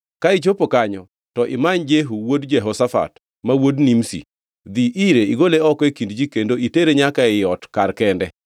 Ka ichopo kanyo, to imany Jehu wuod Jehoshafat, ma wuod Nimshi. Dhi ire igole oko e kind ji kendo itere nyaka ei ot kar kende.